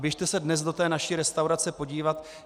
Běžte se dnes do té naší restaurace podívat.